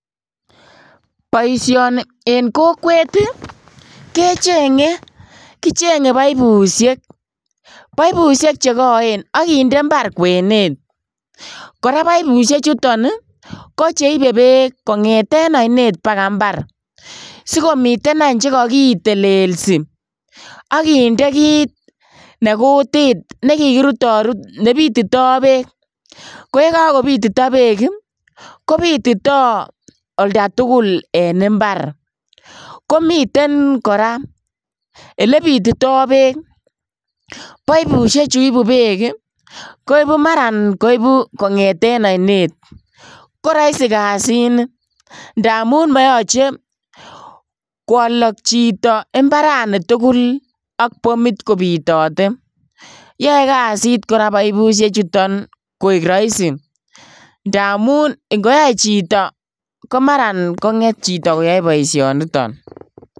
Boisioni en kokwet kechenge kichenge poipushek, poipushek chekoen ak kinde imbar kwenet , koraa poipushechuton ii kocheibe beek kongeten oinet bakaa imbar, sikomiten any chekokitelelsi ak kinde kit nekutit nekikirutorut nebitito beek, ko yekokobitito beek ii kobotito oldatugul en imbar, komiten koraa elebitito beek poipushechu ibu beek ii koibu maran koibu kongeten oinet, koroisi kasini ndamun moyoche kwolok chito imbarani tugul ak bomit kobitote yoe kasit koraa poipushechuton koik roisi ndamun ingoyai chito komaran konget koyoe boisioniton.